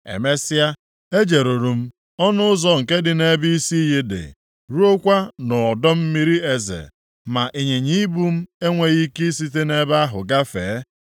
Emesịa, ejeruru m ọnụ ụzọ nke dị nʼebe isi iyi dị, ruokwa nʼọdọ mmiri eze, ma ịnyịnya ibu m enweghị ike isite nʼebe ahụ gafee.